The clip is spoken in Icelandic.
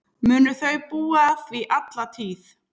Munu þau búa að því alla tíð.